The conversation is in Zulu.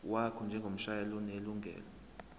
wakho njengomshayeli onelungelo